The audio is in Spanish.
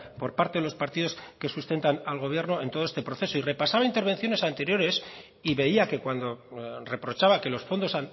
por parte de los partidos que sustentan al gobierno en todo este proceso y repasaba intervenciones anteriores y veía que cuando reprochaba que los fondos